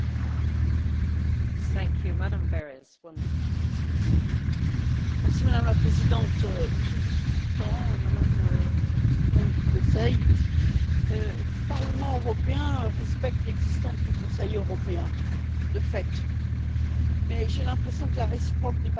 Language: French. Madame la Présidente, Monsieur le vice Président, Madame la représentante du Conseil, le Parlement européen respecte l'existence du Conseil européen, de fait, mais j'ai l'impression que la réciproque n'est pas toujours vraie. Vu l'enjeu de ce Conseil européen, je m'étonne quand même